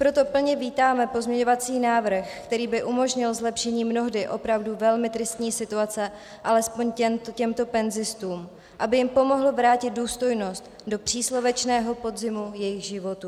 Proto plně vítáme pozměňovací návrh, který by umožnil zlepšení mnohdy opravdu velmi tristní situace alespoň těmto penzistům, aby jim pomohl vrátit důstojnost do příslovečného podzimu jejich životů.